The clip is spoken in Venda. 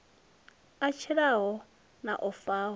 a tshilaho na o faho